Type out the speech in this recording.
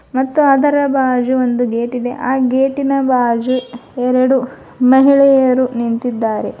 ಮತ್ತು ಅದರ ಬಾಜು ಒಂದು ಗೇಟ್ ಇದೆ ಆ ಗೇಟಿನ ಬಾಜು ಎರಡು ಮಹಿಳೆಯರು ನಿಂತಿದ್ದಾರೆ.